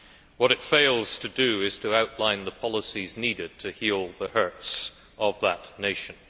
What it fails to do is to outline the policies needed to heal the hurts of that nation.